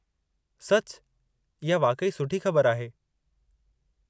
सचु? इहा वाक़ई सुठी ख़बरु आहे।